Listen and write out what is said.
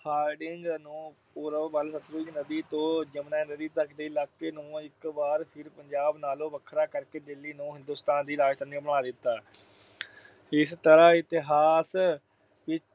Hardinge ਨੂੰ ਪੂਰਬ ਵੱਲ ਨਦੀ ਤੋਂ ਜਮੁਨਾ ਨਦੀ ਦੇ ਇਲਾਕੇ ਨੂੰ ਇਕ ਵਾਰ ਫਿਰ ਪੰਜਾਬ ਨਾਲੋਂ ਵੱਖਰਾ ਕਰਕੇ ਦਿੱਲੀ ਨੂੰ ਹਿੰਦੂਸਤਾਨ ਦੀ ਰਾਜਧਾਨੀ ਬਣਾ ਦਿੱਤਾ। ਇਸ ਤਰ੍ਹਾਂ ਇਤਿਹਾਸ